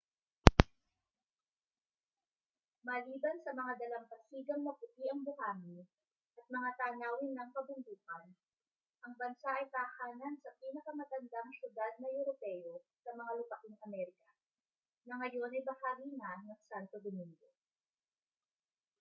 maliban sa mga dalampasigang maputi ang buhangin at mga tanawin ng kabundukan ang bansa ay tahanan sa pinakamatandang siyudad na europeo sa mga lupaing amerika na ngayon ay bahagi na ng santo domingo